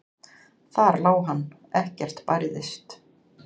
Þar lá hann, ekkert bærðist.